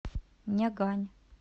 нягань